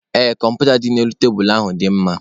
Ee, kọmputa dị n'elu tebulu ahụ dị mma.